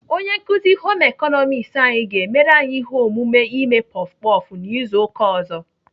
Onye nkuzi Home ịkọnọmiks anyị ga-emere anyị ihe omume ime puff puff n'izu ụka ọzọ.